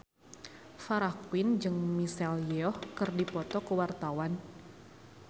Farah Quinn jeung Michelle Yeoh keur dipoto ku wartawan